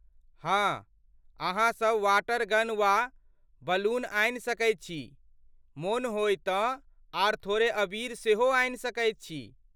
हाँ ,अहाँसब water gun वा बलून आनि सकैत छी ,मोन होय तँ आर थोड़े अबीर सेहो आनि सकैत छी ।